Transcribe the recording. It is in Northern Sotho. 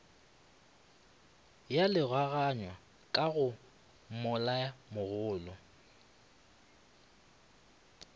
ya logaganywa ka go moelamogolo